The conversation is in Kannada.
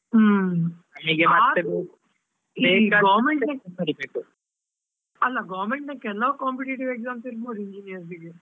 ಹ್ಮ್ ಅಲ್ಲಾ government ನ ಕೆಲವು competitive exams ಇಲ್ವಾ engineers ಇಗೆ.